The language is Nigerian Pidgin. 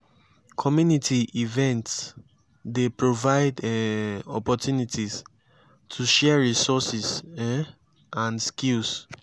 community events dey provide um opportunities to share resources um and skills.